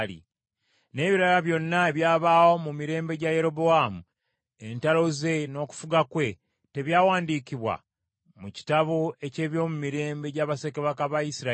N’ebirala byonna ebyabaawo mu mirembe gya Yerobowaamu, entalo ze, n’okufuga kwe, tebyawandiikibwa mu kitabo eky’eby’omu mirembe gya bassekabaka ba Isirayiri?